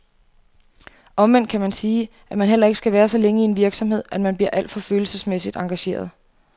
Omvendt kan man sige, at man heller ikke skal være så længe i en virksomhed, at man bliver alt for følelsesmæssigt engageret.